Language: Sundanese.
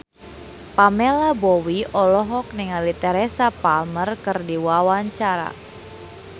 Pamela Bowie olohok ningali Teresa Palmer keur diwawancara